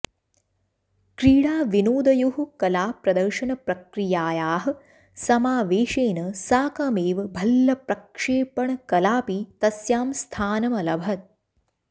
क्रीडाविनोदयोः कला प्रदर्शनप्रक्रियायाः समावेशेन साकमेव भल्लप्रक्षेपणकलाऽपि तस्यां स्थानभलभत